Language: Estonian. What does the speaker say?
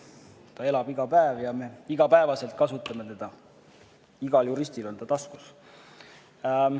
Ta elab iga päev ja me igapäevaselt kasutame teda, igal juristil on ta taskus.